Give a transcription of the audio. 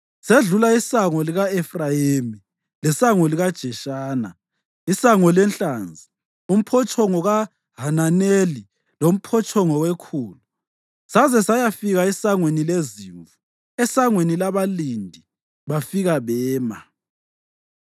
sedlula isango lika-Efrayimi, leSango likaJeshana, iSango leNhlanzi, uMphotshongo kaHananeli loMphotshongo weKhulu saze sayafika eSangweni leZimvu. ESangweni laBalindi bafika bema.